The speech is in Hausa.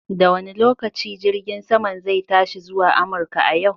Da wane lokaci jirgin saman zai tashi zuwa Amurka a yau?